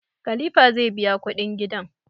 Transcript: Kalifa zai biya kudin gidan